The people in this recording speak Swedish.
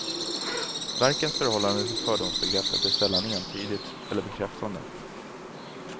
Verkens förhållande till fördomsbegreppet är sällan entydigt eller bekräftande.